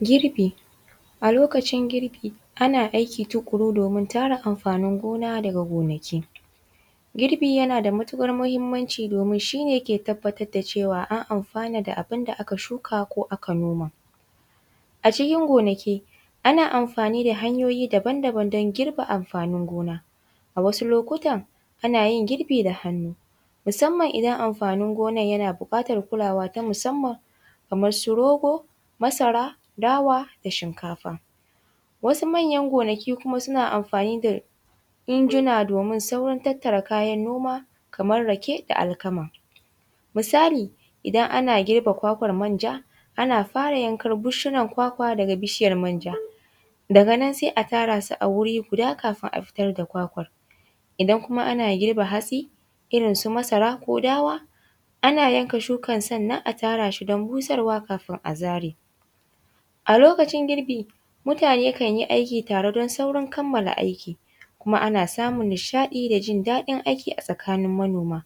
Girbi, a lokacin girbi ana aiki tukuru domin tara amfanin gona daga gonaki, girbi yana da matukar muhimmanci domin shi ne ke tabbatar da cewa an anfana da abin da aka shuka ko aka noma, a cikin ganaki ana amfani da hanyoyi daban-daban don giba amfanin gona, a wasu lokutan ana yin girbi da hannu musamman idan amfanin gonar yana bukatar kulawa ta musamman kamar su rogo, masara, dawa da shinkafa, wasu manyan gonaki kuma suna amfani da injuna domin saukin tattara kayan noma kar rake da alkama, misali idan ana girba kwakwan manja ana fara yankan gushiyar kwakwa daga bishiyar manja daga nan sai a tara su a wuri guda kafin a fitar da kwakwan idan kuma ana girba hatsi irinsu masara ko dawa ana yanka shukan sannan a tara shi don busarwa kafin a zare, a lokacin girbi mutane kan yi aiki tare don saurin kamala aiki kuma ana samun nishaɗi da jin daɗin aiki a tsakanin manoma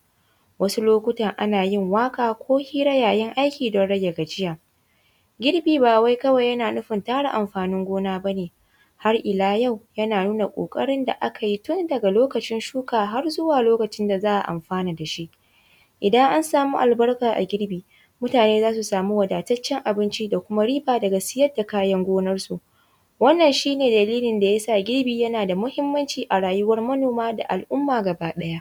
wasu lokutan ana yin waƙa ko hira yayin aiki don rage gajiya, garbi ba wai yana nufin tara amfanin gona bane har iya yau yana nuna kokarin da aka yi tun daga lokacin shuka har zuwa lokacin da za a anfana da shi, idan an samu albarka a girbi mutane zasu samu wadataccen abinci da kuma riba daga siyar da kayar gonar su wannan shi ne dalilin da yasa girbi yana da muhimmanci a rayuwan manoma da al’umma gaba ɗaya.